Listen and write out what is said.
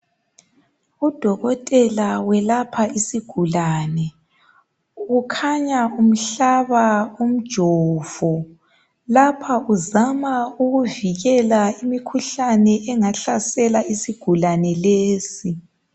Udokotela welapha isigulane kukhanya umhlaba umjovo. Lapha uzama ukuvikela imikhuhlane engahlasela isigulane lesi.